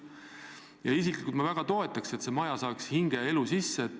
Ma isiklikult väga toetan seda, et see maja saaks hinge ja elu sisse.